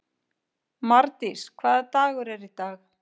Mardís, hvaða dagur er í dag?